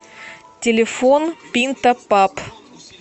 телефон пинта паб